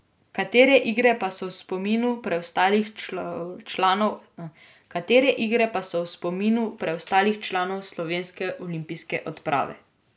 Katere igre pa so v spominu preostalih članov slovenske olimpijske odprave?